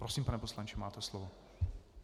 Prosím, pane poslanče, máte slovo.